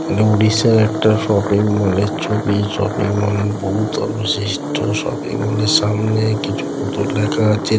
এটা উড়িষ্যার একটা শপিং মলের এর ছবি। শপিং মল বহু তল বৈশিষ্ট্য। শপিং মলের সামনে কিছু পুতুল রাখা আছে।